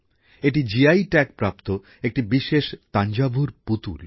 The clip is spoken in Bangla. এটি জিআই ট্যাগপ্রাপ্ত একটি বিশেষ তাঞ্জাভুর পুতুল